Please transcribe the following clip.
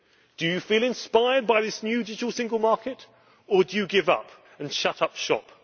Do you feel inspired by this new digital single market, or do you give up and shut up shop?